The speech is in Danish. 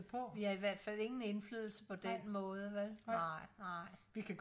vi har i hvertfald ingen indflydelse på den måde vej nej nej